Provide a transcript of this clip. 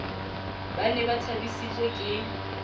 ba ne ba thabisitswe ke